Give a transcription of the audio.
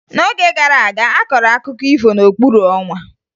N'oge gara aga, a kọrọ akụkọ ifo n'okpuru ọnwa